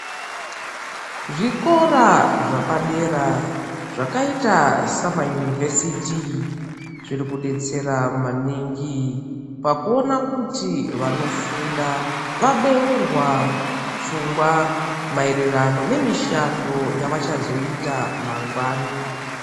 Zvikora zvapadera zvakaita samayunivhesiiti, zviri kudetsera maningi pakuona kuti vanofunda vabeurwa pfungwa maererano, nemishando yavachazoita mangwani.